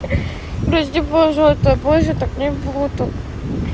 прости пожалуйста больше так не буду